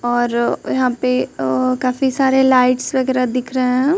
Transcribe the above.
और यहां पे अह काफी सारे लाइट्स वगैरह दिख रहे हैं।